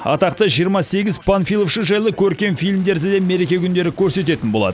атақты жиырма сегіз панфиловшы жайлы көркем фильмдерді де мереке күндері көрсететін болады